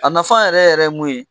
A nafa yɛrɛ yɛrɛ mun ye